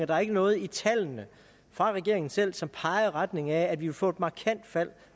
der er ikke noget i tallene fra regeringen selv som peger i retning af at vi vil få et markant fald